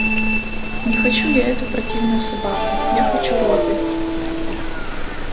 не хочу я эту противную собаку я хочу робби